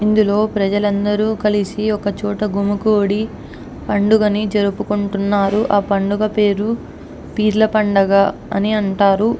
అందరూ కలిసి ఒక చోట గుమ్మ గుడి పండుగని జరుపుకుంటున్నారు. ఆ పండుగ పేరు పీర్ల పండగ అని అంటారు.